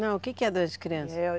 Não, o que que é doença de criança?